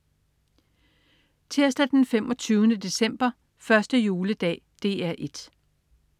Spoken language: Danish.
Tirsdag den 25. december. 1. juledag - DR 1: